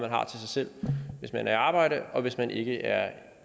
har til sig selv hvis man er i arbejde og hvis man ikke er